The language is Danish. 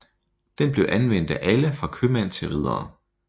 Den blev anvendt af alle fra købmænd til riddere